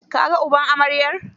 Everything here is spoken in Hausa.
Ka ga uban amaryar?